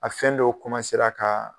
A fɛn dɔw ka